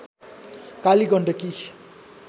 Kaligandaki